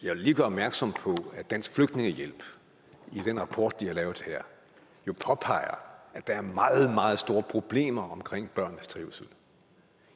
lige gøre opmærksom på at dansk flygtningehjælp i den rapport de har lavet her jo påpeger at der er meget meget store problemer omkring børnenes trivsel